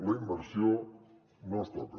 la immersió no es toca